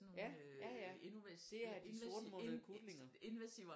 Ja ja ja det er sortmundede kutlinger